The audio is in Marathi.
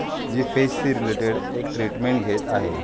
जी फेस से रिलेटेड एक ट्रीटमेंट घेत आहे.